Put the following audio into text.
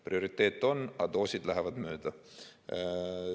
Prioriteet on, aga doosid lähevad mööda.